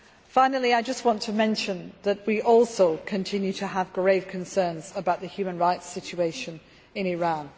Finally, I just want to mention that we also continue to have grave concerns about the human rights situation in Iran.